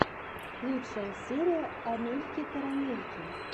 лучшая серия амельки карамельки